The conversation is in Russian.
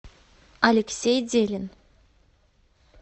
алексей делин